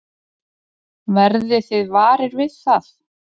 Verðið þið varir við það?